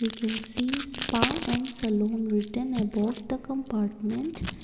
we can see spa and salon written about the compartment.